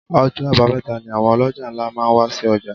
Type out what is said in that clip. Ọjọ́ abameta ni àwọn oloja ńlá máa ń wa sí ọjà.